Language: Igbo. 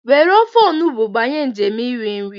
Were ofe Olugbu banye njem nri nri.